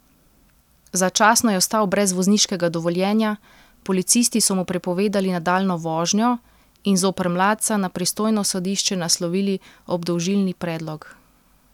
Začasno je ostal brez vozniškega dovoljenja, policisti so mu prepovedali nadaljnjo vožnjo in zoper mladca na pristojno sodišče naslovili obdolžilni predlog.